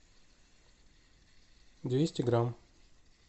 двести грамм